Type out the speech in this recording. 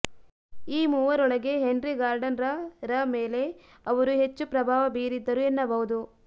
ಈ ಮೂವರೊಳಗೆ Henry Gardner ರ ಮೇಲೆ ಅವರು ಹೆಚ್ಚು ಪ್ರಭಾವ ಬೀರಿದ್ದರು ಎನ್ನಬಹುದು